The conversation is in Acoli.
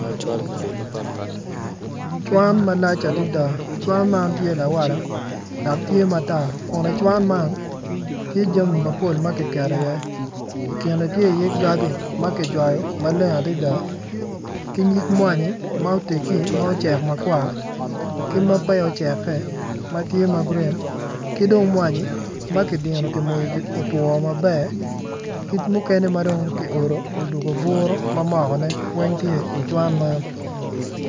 Cwan malac adada cuwan man tye lawala dok tye matar kun i cuwan man tye jami mapol makiketo i ye i kine tye i ye gagi makijwayo maleng adada ki nyig mwanyi ma otegi ma ocek makwar ma pe ya oceke matye magurin ki dong mwanyi makidino kimoyo otwo maber ki mukene madong kiodo mamoko buru mamokone weng tye i cuwan man.